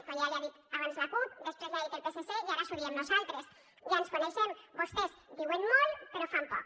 com ja li ha dit abans la cup després li ha dit el psc i ara us ho diem nosaltres ja ens coneixem vostès diuen molt però fan poc